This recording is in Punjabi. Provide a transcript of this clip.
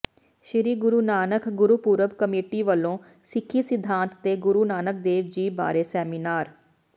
ਸ੍ਰੀ ਗੁਰੂ ਨਾਨਕ ਗੁਰਪੁਰਬ ਕਮੇਟੀ ਵਲੋਂ ਸਿੱਖੀ ਸਿਧਾਂਤ ਤੇ ਗੁਰੂ ਨਾਨਕ ਦੇਵ ਜੀ ਬਾਰੇ ਸੈਮੀਨਾਰ